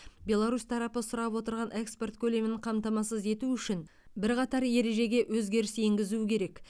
беларусь тарапы сұрап отырған экспорт көлемін қамтамасыз ету үшін бірқатар ережеге өзгеріс енгізу керек